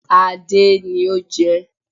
Adé ni o jẹ